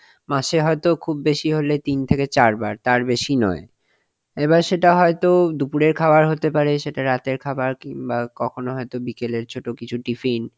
মাসে হয়তো খুব বেশি হলে তিন থেকে চারবার তার বেশি নয় এবার সেটা হয়তো দুপুরের খাবার হতে পারে সেটা রাতের খাবার কিংবা কখনো হয়তো বিকেলের ছোট কিছু tiffin